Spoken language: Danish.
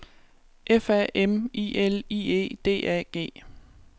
F A M I L I E D A G